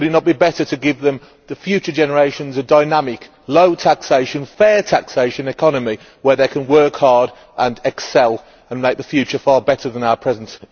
Would it not be better to give them, the future generations, a dynamic, low taxation, fair taxation economy where they can work hard and excel and make the future far better than our present?